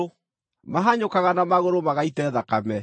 “Mahanyũkaga na magũrũ magaite thakame;